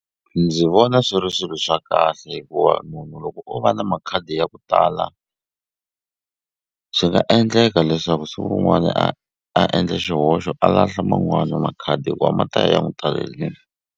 Ndzi vona swi ri swilo swa kahle hikuva munhu loko o va na makhadi ya ku tala swi nga endleka leswaku siku rin'wani a a endle xihoxo a lahla man'wani makhadi hikuva ma ta ya ya n'wu talelini.